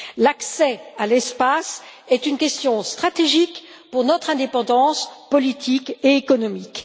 L'accès à l'espace est une question stratégique pour notre indépendance politique et économique.